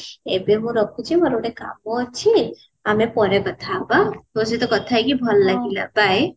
ଏବେ ମୁଁ ରଖୁଛି ମୋର ଗୋଟେ କାମ ଅଛି ଆମେ ପରେ କଥା ହବା ତୋ ସହିତ କଥା ହେଇକି ଭଲ ଲାଗିଲା bye